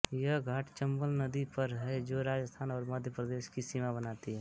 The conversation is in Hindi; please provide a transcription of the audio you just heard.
यह घाट चम्बल नदी पर है जो राजस्थान और मध्यप्रदेश की सीमा बनाती है